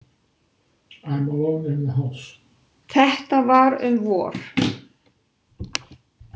Þetta var um vor.